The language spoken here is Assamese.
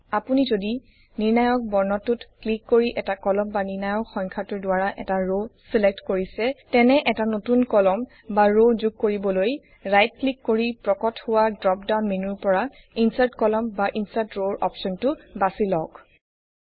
আপুনি যদি নিৰ্ণায়ক বৰ্ণটোত ক্লিক কৰি এটা কলম বা নিৰ্ণায়ক সংখ্যাটোৰ দ্বাৰা এটা ৰ ছিলেক্ট কৰিছে তেনে এটা নতুন কলম বা ৰ যোগ কৰিবলৈ ৰাইট ক্লিক কৰি প্ৰকট হোৱা ড্ৰপ ডাওন মেনুৰ পৰা ইনচাৰ্ট কলম বা ইনচাৰ্ট ৰ অপশ্বনটো বাছি লওঁক